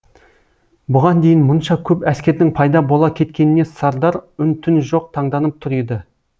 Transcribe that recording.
бұған дейін мұнша көп әскердің пайда бола кеткеніне сардар үн түн жоқ таңданып тұр еді